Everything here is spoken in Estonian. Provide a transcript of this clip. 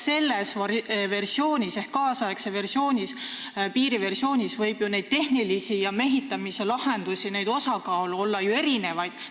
Selles versioonis ehk tänapäevase piiri versioonis võib ju neid tehnilisi lahendusi olla erinevaid.